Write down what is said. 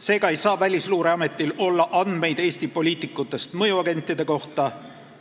Seega ei saa Välisluureametil olla andmeid Eesti poliitikutest mõjuagentide kohta